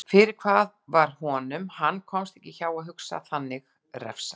Fyrir hvað var honum- hann komst ekki hjá að hugsa þannig- refsað?